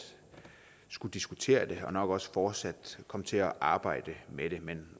skulle diskutere det her og nok også fortsat komme til at arbejde med det men